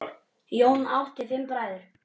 Jón átti fimm bræður.